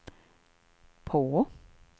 på